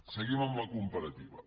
seguim amb la comparativa